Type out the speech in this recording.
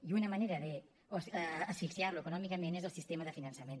i una manera d’asfixiar lo econòmicament és el sistema de finançament